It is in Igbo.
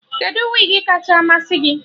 Kedụ wigi kacha masị gị?